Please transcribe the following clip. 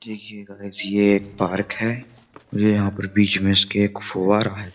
देखिए गाइस ये एक पार्क है ये यहां पर बीच में इसके एक फोर्म है।